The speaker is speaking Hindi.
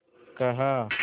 कहा